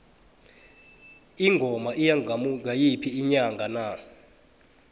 ingoma iya ngayiphi inyanga na